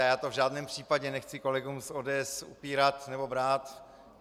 A já to v žádném případě nechci kolegů z ODS upírat nebo brát.